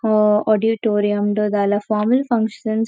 ಹಾ auditorium ಡ್ ದಾಲ formal functions .